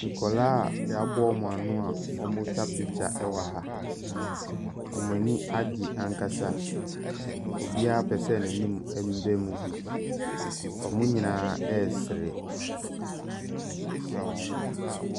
Nkwadaa a yɛaboa wɔn ano a wɔretwa picture wɔ ha, wɔn ani agye ankasa, obiara pɛ sɛ n’anim mbra mu bi, wɔn nyinaa ɛresere.